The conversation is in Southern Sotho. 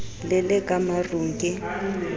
le le ka marung ke